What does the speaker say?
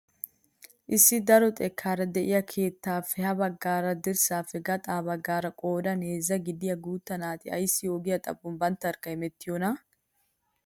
Issi daro xekkaara de'iyaa keettaappe ha bagga dirraappe gaxa baggaara qoodan heezzaa gidiyaa guutta naati ayssi ogiyaa xaphon banttarkka hemettiyoonaa?